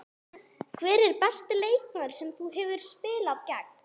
Hver er besti leikmaður sem þú hefur spilað gegn?